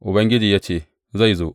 Ubangiji ya ce, Zai zo.